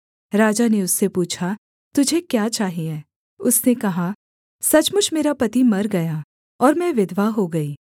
राजा ने उससे पूछा तुझे क्या चाहिये उसने कहा सचमुच मेरा पति मर गया और मैं विधवा हो गई